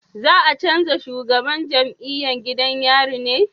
Za a canja shugaban jam'iyan gidan yari ne?